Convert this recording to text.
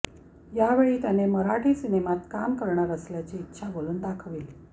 यावेळी त्याने मराठी सिनेमात काम करणार असल्याची इच्छा बोलून दाखवली